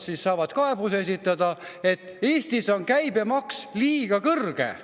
–, kus nad saavad kaebuse esitada, et Eestis on käibemaks liiga kõrge.